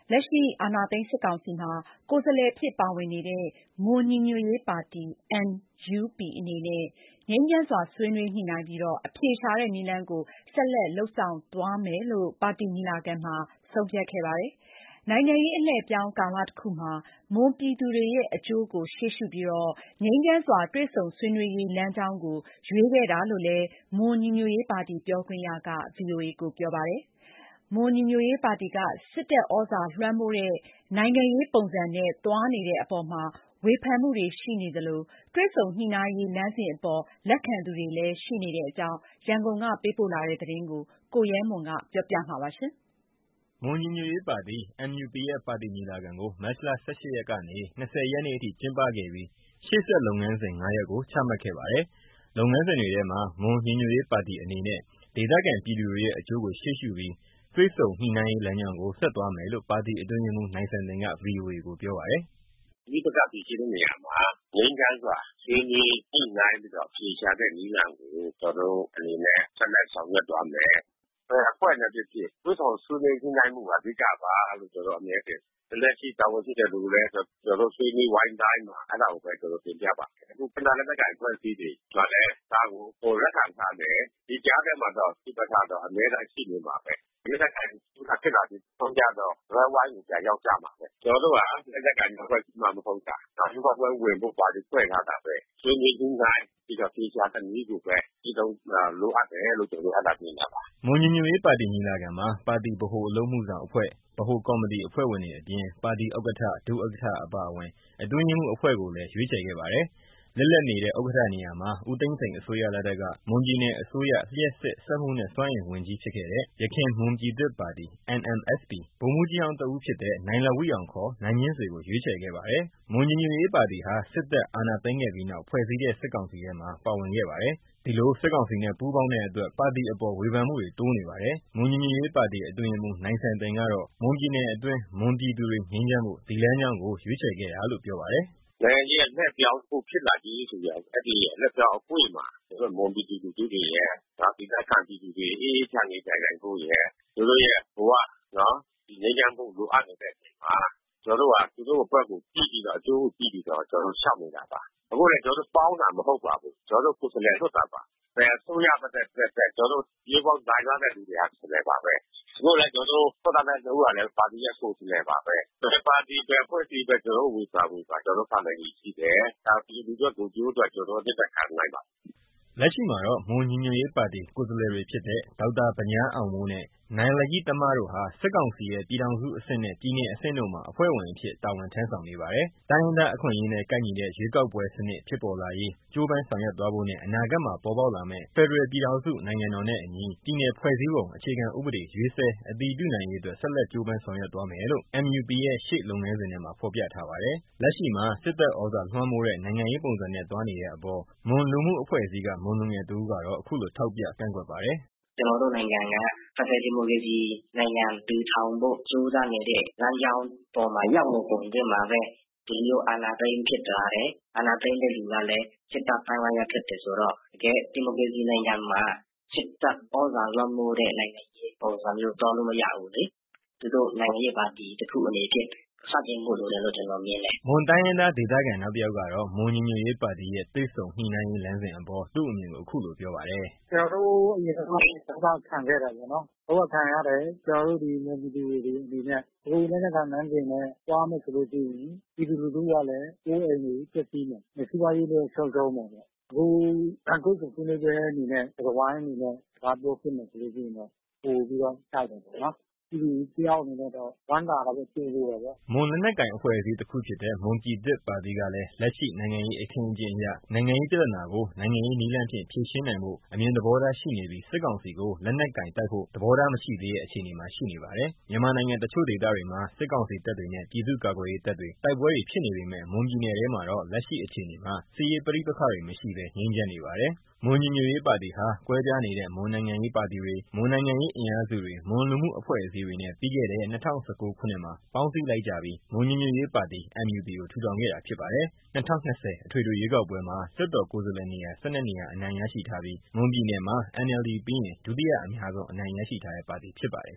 လက်ရှိ အာဏာသိမ်း စစ်ကောင်စီမှာ ကိုယ်စားလှယ်အဖြစ် ပါဝင်နေတဲ့ မွန်ညီညွတ်ရေးပါတီ MUP အနေနဲ့ ငြိမ်းချမ်းစွာ ဆွေးနွေး ညှိနှိုင်ပြီးတော့ အဖြေရှာတဲ့ နည်းလမ်းကို ဆက်လက်လုပ်ဆောင်သွားမယ်လို့ ပါတီညီလာခံမှာ ဆုံးဖြတ်ခဲ့ပါတယ်။ နိုင်ငံရေး အလှည့်အပြောင်း ကာလတခုမှာ မွန်ပြည်သူတွေရဲ့ အကျိုးကို ရှေ့ရှုပြီး ငြိမ်းချမ်းစွာ တွေ့ဆုံဆွေးနွေးရေး လမ်းကြောင်းကို ရွေးခဲ့တာလို့ မွန်ညီညွတ်ရေးပါတီ ပြောခွင့်ရက ပြောပါတယ်။ မွန်ညီညွတ်ရေးပါတီက စစ်တပ်သြဇာလွှမ်းမိုးတဲ့ နိုင်ငံရေး ပုံစံနဲ့ သွားနေတဲ့အပေါ် ဝေဖန်မှုတွေရှိနေသလို တွေ့ဆုံညှိနှိုင်းရေး လမ်းစဉ်အပေါ် လက်ခံသူ တွေလည်း ရှိနေတဲ့အကြောင်း ရန်ကုန်ကပေးပို့တဲ့သတင်းကို ကိုရဲမွန် တင်ပြပါမယ်။ မွန်ညီညွတ်ရေးပါတီ MUP ရဲ့ပါတီညီလာခံကို မတ်လ ၁၈ ရက်ကနေ ၂၀ ရက်နေ့အထိ ကျင်းပခဲ့ပြီး ရှေ့ဆက်လုပ်ငန်းစဉ် ၅ ရပ်ကို ချမှတ်ခဲ့ပါတယ်။ လုပ်ငန်းစဉ်တွေထဲမှာ မွန်ညီညွတ်ရေးပါတီအနေနဲ့ ဒေသခံပြည်သူတွေရဲ့အကျိုးကိုရှေ့ရှုပြီး တွေ့ဆုံညှိနှိုင်းရေး လမ်းကြောင်းကို ဆက်သွား မယ်လို့ ပါတီအတွင်းရေးမှူး နိုင်စံတင်က ဗွီအိုအေကို ပြောပါတယ်။ “ ပဋိပက္ခ ဖြေရှင်းတဲ့ နေရာမှာ ငြိမ်းချမ်းစွာ ဆွေးနွေးညှိနှိုင်းပြီးတော့ အဖြေရှာတဲ့ နည်းလမ်းကို ကျွန်တော်တို့ အနေနဲ့ ဆက်လက် ဆောင်ရွက်သွားမယ်။ ဘယ်အဖွဲ့ဘဲဖြစ်ဖြစ် တွေ့ဆုံညှိနှိုင်းမှုဟာ အဓိကပါလို့ ကျွန်တော်တို့အမြဲထင်တယ်။ လက်ရှိ တာဝန်ရှိတဲ့ သူတွေလည်း ကျွန်တော်တို့ ဆွေးနွေးဝိုင်းတိုင်းမှာ အဲတာကိုဘဲ ကျွန်တော်တို့ တင်ပြပါတယ်။ အခု တိုင်းရင်းသား လက်နက်ကိုင် အဖွဲ့အစည်းတွေမှာလည်း ဒါကို ပိုလက်ခံထားတယ်။ ဒီကြားထဲမှာတော့ ပဋိပက္ခတော့ အမြဲတမ်း ရှိနေမှာဘဲ။ လက်နက်ကိုင်ဖြစ်လာပြီး နောက်ဆုံးကျတော့ စားပွဲဝိုင်းကို ပြန်ရောက်ကြမှာဘဲ။ ကျွန်တော်တို့ဟာ လက်နက် ကိုင်အဖွဲ့အစည်းမှ မဟုတ်တာ။ ရွေးကောက်ပွဲ ဝင်ဖို့ ပါတီဖွဲ့စည်းထားတာဘဲ။ ဆွေးနွေးညှိနှိုင်းပြီးတော့ အဖြေရှာတဲ့နည်း ကိုဘဲ ကျင့်သုံးဖို့လိုအပ်တယ်လို့ ကျွန်တော်တို့အဲတာမြင်တာပါ။ ” မွန်ညီညွတ်ရေးပါတီ ညီလာခံမှာ ပါတီ ဗဟိုအလုပ်အမှုဆောင်အဖွဲ့၊ ဗဟိုကော်မတီ အဖွဲ့ဝင်တွေ အပြင် ပါတီ ဥက္ကဋ္ဌ ၊ ဒုဥက္ကဋ္ဌ အပါအဝင် အတွင်းရေးမှူး အဖွဲ့ကိုလည်း ရွေးချယ်ခဲ့ပါတယ်။ လစ်လပ်နေတဲ့ ဥက္ကဌနေရာမှာ ဦးသိန်းစိန် အစိုးရလက်ထက်က မွန်ပြည်နယ်အစိုးရ လျှပ်စစ်၊ စက်မှုနဲ့ စွမ်းအင်ဝန်ကြီး ဖြစ်ခဲ့တဲ့ ယခင်မွန်ပြည်သစ်ပါတီ ဗိုလ်မှူးကြီးဟောင်းတဦး ဖြစ်တဲ့ နိုင်လဝိအောင် ခေါ် နိုင်မြင့်ဆွေကို ရွေးချယ်ခဲ့ပါတယ်။ မွန်ညီညွတ်ရေးပါတီဟာ စစ်တပ်အာဏာသိမ်းခဲ့ပြီးနောက် ဖွဲ့စည်းတဲ့ စစ်ကောင်စီထဲမှာ ပါဝင်ခဲ့ပါတယ်။ ဒီလို စစ်ကောင်စီနဲ့ ပူးပေါင်းတဲ့အတွက် ပါတီအပေါ် ဝေဖန်မှုတွေ တိုးနေပါတယ်။ မွန်ညီညွတ်ရေးပါတီ အတွင်းရေးမှူး နိုင်စံတင်ကတော့ မွန်ပြည်နယ်အတွင်း မွန်ပြည်သူတွေ ငြိမ်းချမ်းဖို့ ဒီလမ်းကြောင်း ကို ရွေးချယ်ခဲ့တာလို့ပြောပါတယ်။ “နိုင်ငံရေး အလှည့်အပြောင်းတခု ဖြစ်လာပြီးဆိုရင် အဲဒီ အလှည့်အပြောင်း အကွေ့မှာ ကျွန်တော်တို့ မွန်ပြည်သူလူထု တွေရယ်။ ဒေသခံပြည်သူတွေ အေးအေးချမ်းချမ်းနေထိုင်နိုင်ဖို့ရယ်။ သူတို့ရဲ့ ဘဝ နော် ငြိမ်းချမ်းဖို့ လိုအပ်နေတဲ့အချိန်မှာ ကျွန်တော်တို့ဟာ သူတို့အတွက်ကိုကြည့်ပြီးတော့ အကျိုးကိုကြည့်ပြီးတော့ ကျွန်တော်တို့လျှောက်နေတာပါ။ အခုနေ ကျွန်တော်တို့ ပေါင်းတာ မဟုတ်ပါဘူး။ ကျွန်တော်တို့ကိုယ်စားလှယ် လွှတ်တာပါ။ ဘယ်အစိုးရဘဲ တက်တက် ကျွန်တော်တို့ ရွေးကောက်ခံထားရတဲ့ သူတွေဟာ ကိုယ်စားလှယ်ပါဘဲ။ အခုလည်း ကျွန်တော်တို့ ထွက်လာတဲ နှစ် ဦးဟာလည်း ပါတီရဲ့ ကိုယ်စားလှယ်ပါဘဲ။ ဘယ်ပါတီ ဘယ်အဖွဲ့အစည်းပဲ ကျွန်တော်တို့ကို ဝေဖန် ဝေဖန် ကျွန်တော်တို့ခံနိုင်ရည်ရှိတယ်။ ဒါ ပြည်သူအတွက် ကိုယ်ကျိုးအတွက် ကျွန်တော်တို့ကြံ့ကြံ့ခံနိုင်ပါတယ်။” လက်ရှိမှာတော့ မွန်ညီညွတ်ရေးပါတီ ကိုယ်စားလှယ်တွေ ဖြစ်တဲ့ ဒေါက်တာဗညားအောင်မိုးနဲ့ နိုင်လယ်တမ တို့ဟာ စစ်ကောင်စီရဲ့ ပြည်ထောင်စုအဆင့်နဲ့ ပြည်နယ်အဆင့်တို့မှာ အဖွဲ့ဝင်အဖြစ် တာဝန် ထမ်းဆောင်နေပါတယ်။ တိုင်းရင်းသား အခွင့်အရေးနဲ့ ကိုက်ညီတဲ့ ရွေးကောက်ပွဲ စနစ် ဖြစ်ပေါ်လာရေး ကြိုးပမ်းဆောင်ရွက်သွားဖို့နဲ့ အနာဂတ်မှာ ပေါ်ပေါက်လာမယ့် ဖက်ဒရယ်ပြည်ထောင်စု နိုင်ငံတော်နဲ့ အညီ ပြည်နယ်ဖွဲ့စည်းပုံ အခြေခံဥပဒေ ရေးဆွဲအတည်ပြုနိုင်ရေးအတွက် ဆက်လက် ကြိုးပမ်းဆောင်ရွက်သွားမယ်လို့ MUP ရဲ့ ရှေ့လုပ်ငန်းစဉ်ထဲမှာ ဖော်ပြထားပါတယ်။ လက်ရှိမှာ စစ်တပ်သြဇာလွှမ်းမိုးတဲ့ နိုင်ငံရေးပုံစံနဲ့ သွားနေတဲ့ အပေါ် မွန်လူမှု အဖွဲ့အစည်းက မွန်လူငယ်တဦးကတော့ ခုလိုထောက်ပြ ကန့်ကွက်ပါတယ်။ “ ကျွန်တော်တို့နိုင်ငံက ဖက်ဒရယ် ဒီမိုကရေစီနိုင်ငံ ထူထောင်ဖို့ လမ်းကြောင်းပေါ်မှာ ရောက်နေစဉ် အတွင်းမှာပဲ ဒီလို အာဏာသိမ်းဖြစ်လာတယ်။ အာဏာသိမ်းတဲ့ သူကလည်း စစ်တပ်အသိုင်းအဝိုင်းက ဖြစ်တယ်ဆိုတော့ တကယ့် ဒီမိုကရေစီနိုင်ငံမှာ စစ်တပ်သြဇာလွှမ်းမိုးတဲ့ နိုင်ငံရေး ပုံစံမျိုး သွားလို့မရဘူးလေ။ သူတို့ နိုင်ငံရေးပါတီ တခုအနေဖြင့် ဆန့်ကျင်ဖို့လိုတယ်လို့ ကျွန်တော်မြင်တယ်။ ” မွန်တိုင်းရင်းသား ဒေသခံ နောက်တယောက်ကတော့ မွန်ညီညွတ်ရေး ပါတီရဲ့ တွေ့ဆုံညှိနှိုင်းရေး လမ်းစဉ်အပေါ် သူ့အမြင်ကို ခုလိုပြောပါတယ်။ “ ကျွန်တော်တို့ အရင်တုန်းက ဒုက္ခခံခဲ့တယ်ပေါ့နော်။ ဒုက္ခခံခဲ့တယ်။ မွန်ပြည်သူတွေအနေနဲ့။ သူတို့ လက်နက်ကိုင် လမ်းစဉ်နဲ့ သွားမယ်ဆိုလို့ ရှိရင် ပြည်သူလူထုကလည်း အိုးအိမ်တွေပျက်စီးမယ်။ စီးပွါးရေးလည်း ဆုံးရှုံးမယ်။ အခုတွေ့ဆုံ ဆွေးနွေးပွဲအနေနဲ့ စကားဝိုင်းအနေနဲ့ သွားပြောဖြစ်မယ်ဆိုရင်တော့ ပိုပြီးတော့ ကိုက်ညီတယ်ပေါ့နော်။ ပြည်သူတယောက် အနေနဲ့တော့ ဝမ်းသာတာပေါ့။ ကြိုဆိုတယ်ပေါ့။” မွန်လက်နက်ကိုင် အဖွဲ့အစည်းတခုဖြစ်တဲ့ မွန်ပြည်သစ်ပါတီကလည်း လက်ရှိ နိုင်ငံရေးအခင်းအကျင်းအရ နိုင်ငံရေး ပြဿနာကို နိုင်ငံရေးနည်းလမ်းဖြင့် ဖြေရှင်းနိုင်ဖို့ အမြင်သဘောထားရှိနေပြီး စစ်ကောင်စီကို လက်နက်ကိုင်တိုက်ဖို့ သဘောထား မရှိသေးတဲ့ အခြေအနေမှာ ရှိနေပါတယ်။ မြန်မာနိုင်ငံ တချို့ဒေသတွေမှာ စစ်ကောင်စီတပ်တွေနဲ့ ပြည်သူ့ကာကွယ်ရေးတပ်တွေ တိုက်ပွဲတွေဖြစ်နေပေမဲ့ မွန်ပြည်နယ်ထဲမှာတော့ လက်ရှိအခြေအနေမှာ စစ်ရေးပဋိပက္ခတွေ မရှိဘဲ ငြိမ်းချမ်းနေပါတယ်။ မွန်ညီညွတ်ရေးပါတီဟာ ကွဲပြားနေတဲ့ မွန်နိုင်ငံရေးပါတီတွေ၊ မွန်နိုင်ငံရေး အင်အားစုတွေ၊ မွန်လူမှုအဖွဲ့အစည်းတွေနဲ့ ပြီးခဲ့တဲ့ ၂၀၁၉ ခုနှစ်မှာ ပေါင်းစည်းလိုက်ကြပြီး မွန်ညီညွတ်ရေးပါတီ MUP ကို ထူထောင်ခဲ့တာဖြစ်ပါတယ်။ ၂၀၂၀ ပြည့်နှစ် အထွေထွေရွေးကောက်ပွဲမှာ လွှတ်တော်ကိုယ်စားလှယ်နေရာ နေရာ အနိုင်ရရှိထားပြီး မွန်ပြည်နယ်မှာ အမျိုးသား ဒီမိုကရေစီအဖွဲ့ချုပ် NLD ပြီးရင် ဒုတိယအများဆုံး အနိုင်ရရှိထားတဲ့ ပါတီဖြစ်ပါတယ်